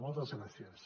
moltes gràcies